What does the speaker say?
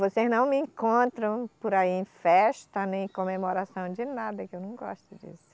Vocês não me encontram por aí em festa, nem comemoração de nada, que eu não gosto disso.